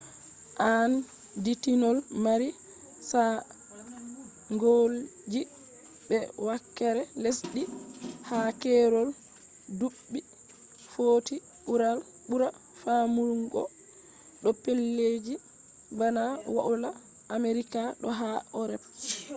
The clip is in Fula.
aanditinol mari saanjolji be wakere lesdi ha keerol duɓɓi footi ɓura famɗugo do pellelji bana woila amerika do ha erop